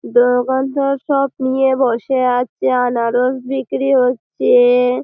দোকানদার সব নিয়ে বসে আছে আনারস বিক্রি হচ্চে-এ-এ।